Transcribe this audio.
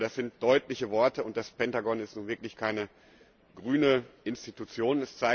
Ich denke, das sind deutliche Worte, und das Pentagon ist nun wirklich keine grüne Institution.